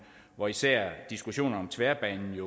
hvor især diskussionen om tværbanen